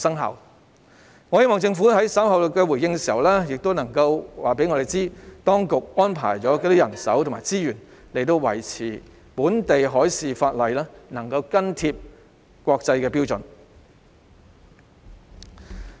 我希望政府在稍後回應時能告訴我們，當局安排了多少人手和資源，以確保本地海事相關法例能緊貼國際標準。